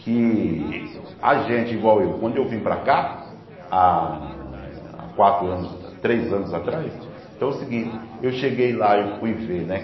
Que a gente, igual eu, quando eu vim para cá há há quatro anos, três anos atrás, então é o seguinte, eu cheguei lá e fui ver, né?